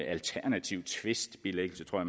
alternativ tvistbilæggelse tror